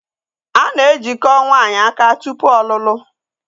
A na-ejiko nwaanyị aka tụpụ ọlụlụ